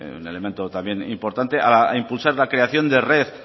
un elemento también importante a impulsar la creación de red